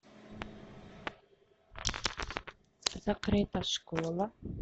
закрытая школа